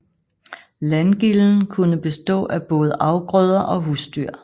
Landgilden kunne bestå af både afgrøder og husdyr